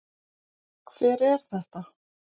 Hver er þetta?